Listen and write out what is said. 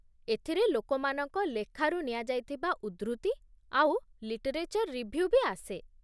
ଏଥିରେ ଲୋକମାନଙ୍କ ଲେଖାରୁ ନିଆଯାଇଥିବା ଉଦ୍ଧୃତି ଆଉ ଲିଟରେଚର୍ ରିଭ୍ୟୁ ବି ଆସେ ।